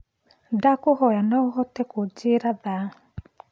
ndakũhoya no uhote kunjĩĩra thaa